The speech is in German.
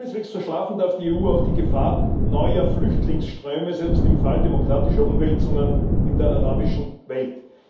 Keineswegs verschlafen darf die EU auch die Gefahr neuer Flüchtlingsströme, selbst im Fall demokratischer Umwälzungen in der arabischen Welt.